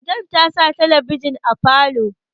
Madam ta sa talabijin a falo